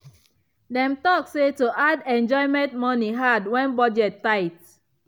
dem talk say to add enjoyment money hard when budget tight.